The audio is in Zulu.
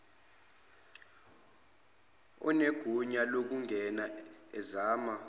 onegunya lokungena ezama